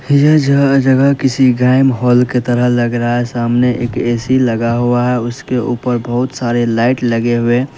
यह जग जगह किसी गायम हॉल की तरह लग रहा है सामने एक ए_सी लगा हुआ है उसके ऊपर बहुत सारे लाइट लगे हुए--